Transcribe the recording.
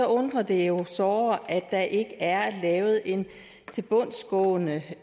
undrer det jo såre at der ikke er lavet en tilbundsgående